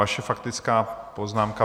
Vaše faktická poznámka...